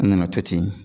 An nana to ten